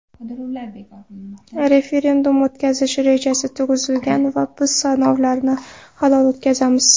Referendum o‘tkazish rejasi tuzilgan va biz saylovlarni halol o‘tkazamiz.